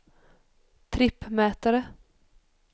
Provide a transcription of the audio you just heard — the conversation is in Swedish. trippmätare